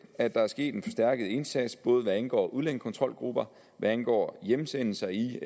er der sket en forstærket indsats både hvad angår udlændingekontrolgrupper og hvad angår hjemsendelser i